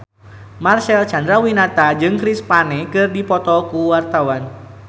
Marcel Chandrawinata jeung Chris Pane keur dipoto ku wartawan